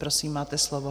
Prosím, máte slovo.